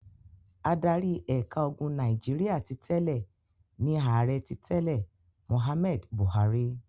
Adarí ẹ̀ka ogun Nàìjíríà ti tẹ́lẹ̀ ni Ààrẹ ti tẹ́lẹ̀ Mohammed Buhari.